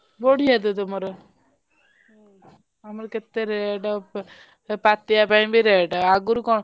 ବଢିଆ ତ ତମର ଆମର କେତେ rate ପାତିଆ ପାଇଁ ବି rate ଆଗୁରୁ କଣ,